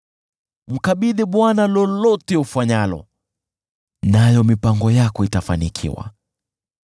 Mkabidhi Bwana lolote ufanyalo, nayo mipango yako itafanikiwa.